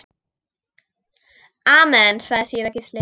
Amen, sagði síra Gísli.